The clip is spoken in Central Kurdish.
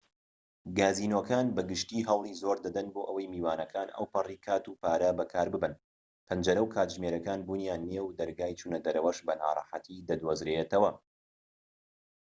گازینۆکان بە گشتی هەوڵی زۆر دەدەن بۆ ئەوەی میوانەکان ئەوپەری کات و پارە بەکارببەن پەنجەرە و کاتژمێرەکان بوونیان نیە و دەرگای چوونەدەرەوەش بە ناڕەحەتی دەدۆزرێتەوە